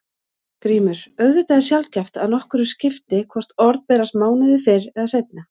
GRÍMUR: Auðvitað er sjaldgæft að nokkru skipti hvort orð berast mánuði fyrr eða seinna.